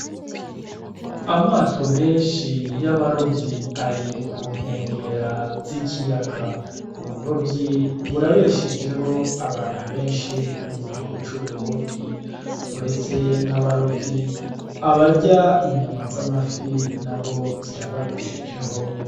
Amato menshi y'abaruvyi ari kunkwengera z'ikiyaga uburovyi burabeshejeho abantu benshi mu gihugu c'uburundi uretse n'abarovyi abarya inyama z'amafi na bo zirababeshejeho.